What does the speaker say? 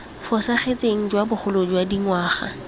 fosagetseng jwa bogolo jwa dingwaga